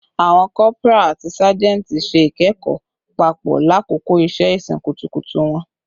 Awọn corporal ati sajenti ṣe ikẹkọ papọ lakoko iṣẹ-isin kutukutu wọn